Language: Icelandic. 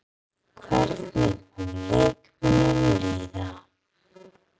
Hvernig mun leikmönnum líða?